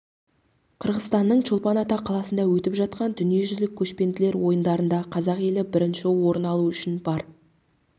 қырғызстанның чолпан ата қаласында өтіп жатқан дүниежүзілік көшпенділер ойындарында қазақ елі бірінші орын алу үшін бар